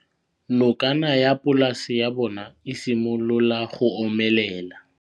Nokana ya polase ya bona, e simolola go omelela.